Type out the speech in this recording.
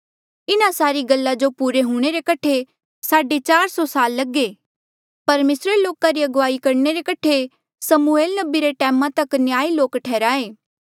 इन्हा सारी गल्ला जो पुरे हूंणे रे कठे साढे चार सौ साल लगे परमेसरे लोका री अगुवाई करणे रे कठे समूएल नबी रे टैमा तक न्यायी लोक ठैहराये